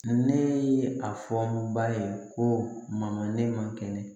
Ne ye a fɔ ba ye ko mama ne ma kɛnɛ